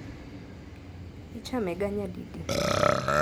Ichamega nyadidi?